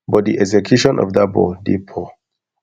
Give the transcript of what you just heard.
but di execution for dat ball dey poor